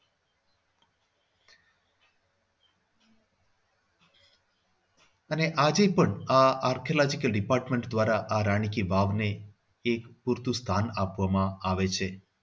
અને આજે પણ આ artology department દ્વારા રાણી કી વાવને એક પૂરતું સ્થાન આપવામાં આવે છે.